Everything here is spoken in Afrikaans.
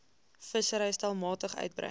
vissery stelselmatig uitbrei